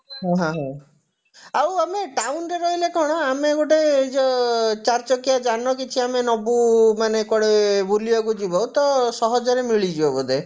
ହଁ ହଁ ଆଉ ଆମେ town ରେ ରହିଲେ କଣ ଆମେ ଗୋଟେ ଯଉ ଚାରିଚକିଆ ଯାନ କିଛି ଆମେ ନବୁ ମାନେ କୁଆଡେ ବୁଲିବାକୁ ଯିବ ତ ସହଜରେ ମିଳିଯିବ ବୋଧେ